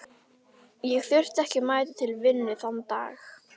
Ég þurfti ekki að mæta til vinnu þann dag.